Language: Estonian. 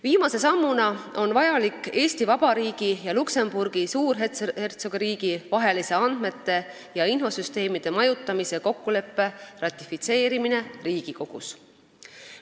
Viimase sammuna on vajalik Eesti Vabariigi ja Luksemburgi Suurhertsogiriigi vahelise andmete ja infosüsteemide majutamise kokkuleppe ratifitseerimine Riigikogus.